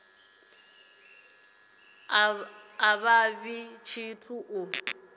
a vha ḽi tshithu u